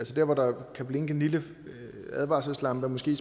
der hvor der kan blinke en lille advarselslampe er måske